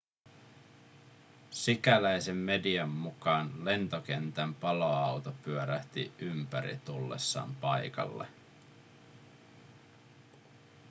sikäläisen median mukaan lentokentän paloauto pyörähti ympäri tullessaan paikalle